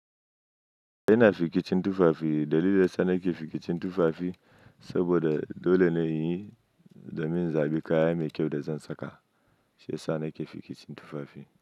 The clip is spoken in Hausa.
Ina fikicin tufafi. Dalilin sa nake fikicin tufafi saboda dole ne in yi domin zaɓi kaya mai kyau da zan saka. Shiyasa nake fikicin tufafi.